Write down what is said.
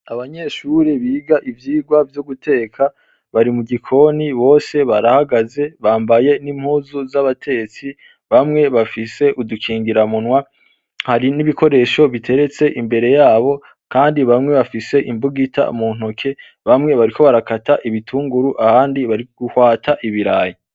Abanyeshure biga ivyigwa vyo guteka bari mugikoni bose barahagaze bambaye n’impuzu z’abatetsi, bamwe bafise udukingira munwa hari n’ibikoresho biteretse imbere yabo kandi bamwe bafise imbugita muntoke, bamwe bariko barakata ibitunguru abandi bariguhwata ibirayi.